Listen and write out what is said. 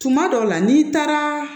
Tuma dɔw la n'i taara